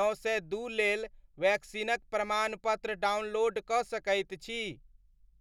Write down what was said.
नओ सए दू लेल वैक्सीनक प्रमाणपत्र डाउनलोड कऽ सकैत छी?